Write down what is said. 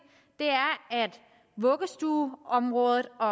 er at vuggestueområdet og